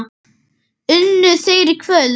Unnu þeir í kvöld?